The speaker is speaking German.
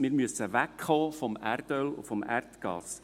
Wir müssen wegkommen vom Erdöl und vom Erdgas.